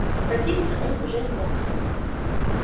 противиться он уже не мог